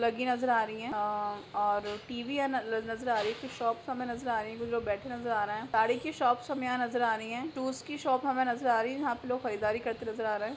--लगी नजर आ रही है अ और टी_वी आ नजर आ रही है फिर शॉप हमे नजर आ रहीं है कुछ लोग बैठे नजर आ रहे हैं साड़ी की शॉप हमे नजर आ रही है टूल्स की शॉप हमे नजर आ रही है यह पे लोग खरीदारी करते नजर आ रहे हैं।